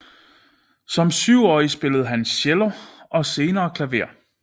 Som syvårig spillede han cello og senere klaver